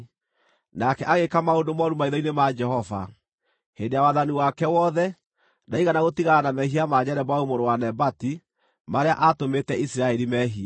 Nake agĩĩka maũndũ mooru maitho-inĩ ma Jehova. Hĩndĩ ya wathani wake wothe, ndaigana gũtigana na mehia ma Jeroboamu mũrũ wa Nebati, marĩa aatũmĩte Isiraeli meehie.